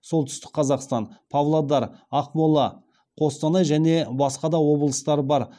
солтүстік қазақстан павлодар ақмола қостанай және басқа да облыстар бар